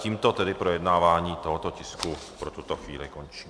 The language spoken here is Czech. Tímto tedy projednávání tohoto tisku pro tuto chvíli končím.